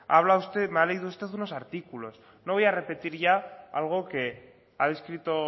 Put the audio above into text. ha hablado usted me ha leído usted unos artículos no voy a repetir ya algo que ha descrito